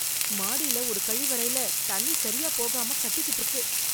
மாடியில ஒரு கழிவறைல தண்ணி சரியா போகாம கட்டிகிட்டு இருக்கு...